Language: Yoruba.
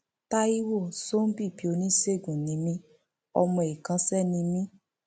tàìwo ṣọńbìbí oníṣègùn ni mí ọmọ ikánṣẹ ni mí